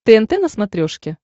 тнт на смотрешке